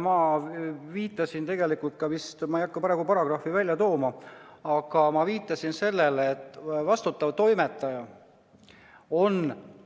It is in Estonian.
Ma viitasin tegelikult ka vist sellele – ma ei hakka praegu paragrahvi välja tooma –, et vastutav toimetaja on